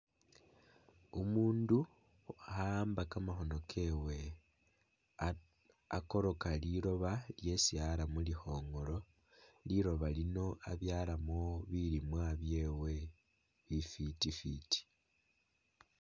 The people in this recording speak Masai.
Umundu kha'amba kamakhono kewe aka akoroka liloba lyesi ara mulikhongolo, liloba lino abyalamo bilimwa byewe bifiti fiti